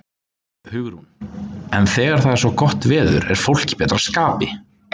Hugrún: En þegar það er svona gott veður, er fólk í betra skapi?